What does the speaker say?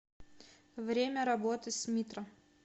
время работы смитра